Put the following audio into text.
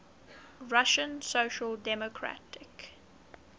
russian social democratic